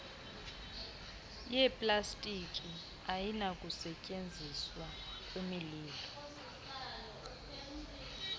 yeplastiki ayinakusetyenziswa kwimililo